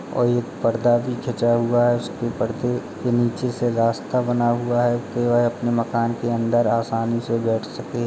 और एक पर्दा भी खींचा हुआ है। उसके परदे के नीचे से रास्ता बना हुआ है के वह अपने मकान के अंदर आसानी से बैठ सके।